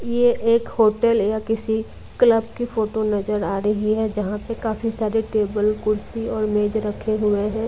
यह एक होटल या किसी क्लब की फोटो नजर आ रही है यहाँ पे काफी सारे टेबल कुर्सी और मेज रखे हुए हैं।